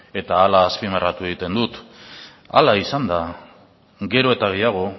eta hala azpimarratu egiten dut hala izanda gero eta gehiago